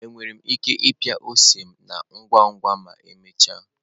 Ekwesịrị m ịpịa ose na ngwa ngwa ma emechaa?